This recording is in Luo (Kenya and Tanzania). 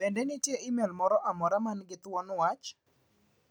Bende nitiere imel moro amora man gi thuon wach?